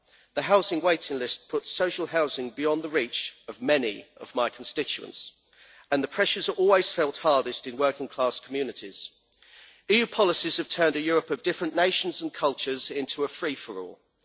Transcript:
the housing waiting list puts social housing beyond the reach of many of my constituents, and the pressures are always felt hardest in working class communities. EU policies have turned a Europe of different nations and cultures into a free for all.